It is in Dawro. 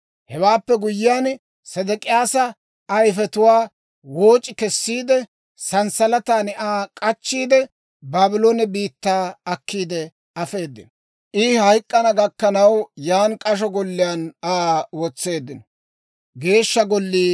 Hewaappe guyyiyaan, Sedek'iyaasa ayifetuwaa wooc'i kessiide, sanssalatan Aa k'achchiide, Baabloone biittaa akkiide afeedino. I hayk'k'ana gakkanaw, yaan k'asho golliyaan Aa wotseeddino.